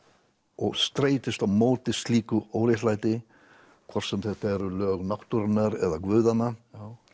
og streitist á móti slíku óréttlæti hvort sem þetta eru lög náttúrunnar eða guðanna